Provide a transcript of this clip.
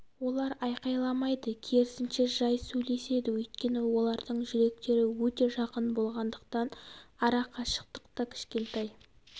олар айқайламайды керісінше жай сөйлеседі өйткені олардың жүректері өте жақын болғандықтан ара қашықтық та кішкентай